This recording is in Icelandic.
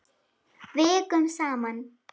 Vikum saman.